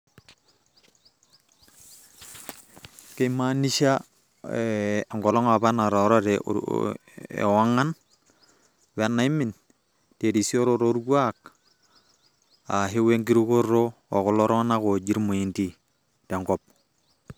Keimaanisha enkolong apa nataarate oo ewang'an wenaimin terisioroto orkuak ashuu wenkirukoto ookulo tung'anak ooji irmoindi tenkop.